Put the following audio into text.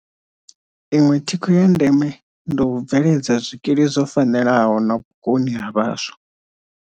Iṅwe thikho ya ndeme ndi u bveledza zwikili zwo fanelaho na vhukoni ha vhaswa.